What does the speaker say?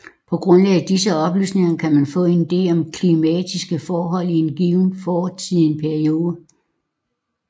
På grundlag af disse oplysninger kan man få en ide om klimatiske forhold i en given fortidig periode